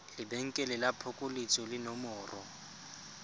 lebenkele la phokoletso le nomoro